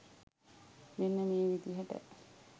මෙන්න මේ විදිහට.